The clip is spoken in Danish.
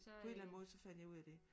På en eller anden måde så fandt jeg ud af det